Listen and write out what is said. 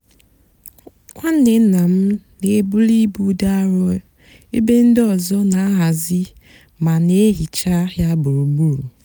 nwánné nná m nà-èbuli íbú dị árọ ébé ndị ọzọ nà-àhazi mà nà-èhicha yá gburugburu.